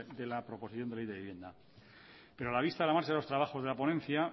de la proposición de ley de vivienda pero a la vista de la marcha de los trabajos de la ponencia